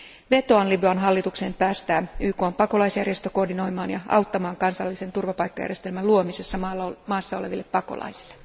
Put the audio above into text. Vetoan Libyan hallitukseen päästää YKn pakolaisjärjestö koordinoimaan ja auttamaan kansallisen turvapaikkajärjestelmän luomisessa maassa oleville pakolaisille.